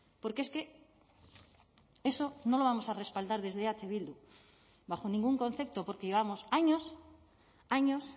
porque es que eso no lo vamos a respaldar desde eh bildu bajo ningún concepto porque llevamos años años